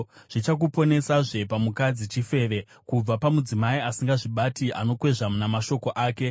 Zvichakuponesazve pamukadzi chifeve, kubva pamudzimai asingazvibati, anokwezva namashoko ake,